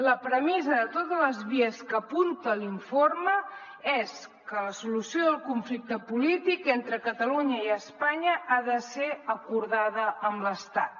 la premissa de totes les vies que apunta l’informe és que la solució del conflicte polític entre catalunya i espanya ha de ser acordada amb l’estat